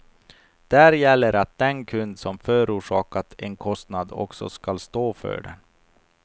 Där gäller att den kund som förorsakar en kostnad också skall stå för den.